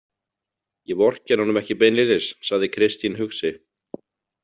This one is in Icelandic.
Ég vorkenni honum ekki beinlínis, sagði Kristín hugsi.